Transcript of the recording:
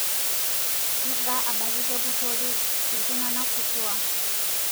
Keeta abaki kepurori ltungana kutuaa